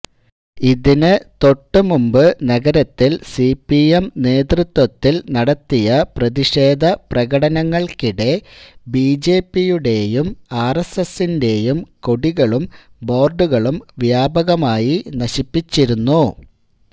ഇതിന് തൊട്ടുമുൻപ് നഗരത്തിൽ സിപിഎം നേതൃത്വത്തിൽ നടത്തിയ പ്രതിഷേധ പ്രകടനങ്ങൾക്കിടെ ബിജെപിയുടെയും ആർഎസ്എസിന്റെയും കൊടികളും ബോർഡുകളും വ്യാപകമായി നശിപ്പിച്ചിരുന്നു